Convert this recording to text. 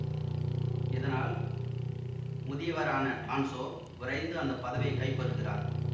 இதனால் முதியவரான டான்சோ விரைந்து அந்த பதவியை கைப்பற்றுகிறார்